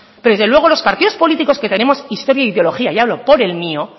pero desde luego los partidos políticos que tenemos historia e ideología y hablo por el mío